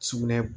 Sugunɛ